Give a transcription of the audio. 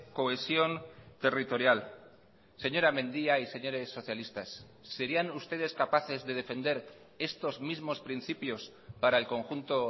cohesión territorial señora mendia y señores socialistas serían ustedes capaces de defender estos mismos principios para el conjunto